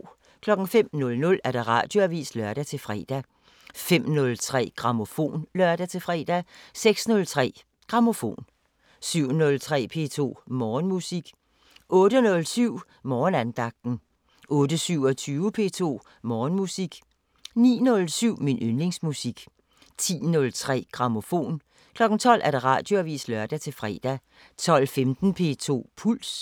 05:00: Radioavisen (lør-fre) 05:03: Grammofon (lør-fre) 06:03: Grammofon 07:03: P2 Morgenmusik 08:07: Morgenandagten 08:27: P2 Morgenmusik 09:07: Min yndlingsmusik 10:03: Grammofon 12:00: Radioavisen (lør-fre) 12:15: P2 Puls